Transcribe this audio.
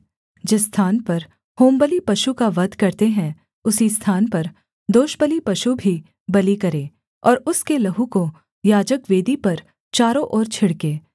जिस स्थान पर होमबलि पशु का वध करते हैं उसी स्थान पर दोषबलि पशु भी बलि करें और उसके लहू को याजक वेदी पर चारों ओर छिड़के